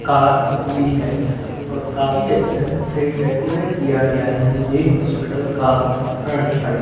Car भी है और काफी अच्छा से डेकोरेट किया गया है ये हॉस्पिटल का फ्रंट साइड ।